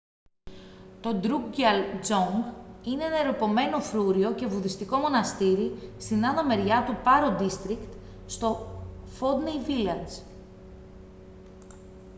το drukgyal dzong είναι ένα ερειπωμένο φρούριο και βουδιστικό μοναστήρι στην άνω μεριά του paro district στο phondey village